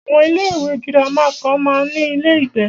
Àwọn ilé ìwé gírámà kan máa ń ní ilé ìgbé.